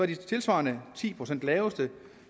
de tilsvarende ti procent laveste